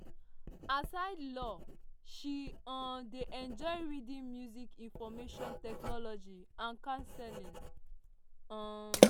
aside law she um dey enjoy reading music information technology and counselling. um